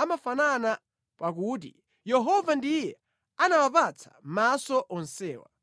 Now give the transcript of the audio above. amafanana pa kuti: Yehova ndiye anawapatsa maso onsewa.